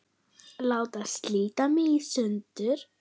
Láta slíta mig í sundur.